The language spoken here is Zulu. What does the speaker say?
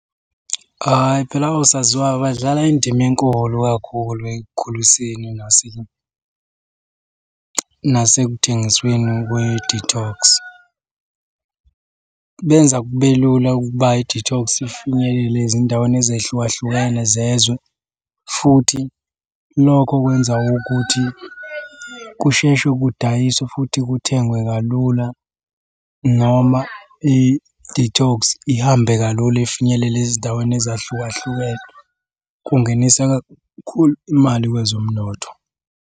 Hhayi phela osaziwayo badlala indima enkulu kakhulu ekukhuliseni nasekuthengisweni kwe-detox. Benza kube lula ukuba i-detox ifinyelele ezindaweni ezehlukahlukene zezwe, futhi lokho kwenza ukuthi kusheshe kudayiswe futhi kuthengwe kalula noma i-detox ihambe kalula ifinyelele ezindaweni ezahlukahlukene. Kungenisa kakhulu imali kwezomnotho.